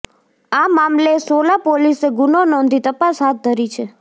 આ મામલે સોલા પોલીસે ગુનો નોંધી તપાસ હાથ ધરી છે